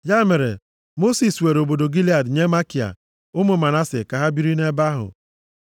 Ya mere, Mosis were obodo Gilead nye Makia, ụmụ Manase ka ha biri nʼebe ahụ.